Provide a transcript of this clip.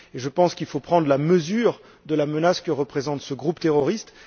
Je pense qu'il faut prendre la mesure de la menace que représente ce groupe terroriste.